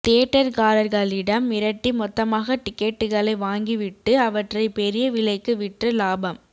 தியேட்டர்காரர்களிடம் மிரட்டி மொத்தமாக டிக்கெட்டுகளை வாங்கிவிட்டு அவற்றை பெரிய விலைக்கு விற்று லாபம்